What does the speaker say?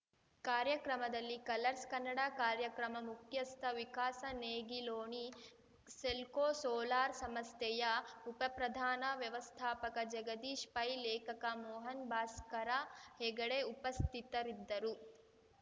ಕಾರ್ಯಕ್ರಮದಲ್ಲಿ ಕಲರ್ಸ್‌ ಕನ್ನಡ ಕಾರ್ಯಕ್ರಮ ಮುಖ್ಯಸ್ಥ ವಿಕಾಸ ನೇಗಿಲೋಣಿ ಸೆಲ್ಕೋ ಸೋಲಾರ್‌ ಸಮಸ್ಥೆಯ ಉಪಪ್ರಧಾನ ವ್ಯವಸ್ಥಾಪಕ ಜಗದೀಶ್‌ ಪೈ ಲೇಖಕ ಮೋಹನ್ ಭಾಸ್ಕರ ಹೆಗಡೆ ಉಪಸ್ಥಿತರಿದ್ದರು